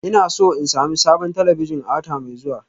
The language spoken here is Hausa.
Ina so in sami sabon talabijin a wata mai zuwa